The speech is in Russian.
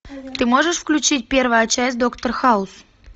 ты можешь включить первая часть доктор хаус